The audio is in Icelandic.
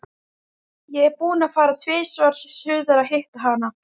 Ég er búinn að fara tvisvar suður að hitta hana.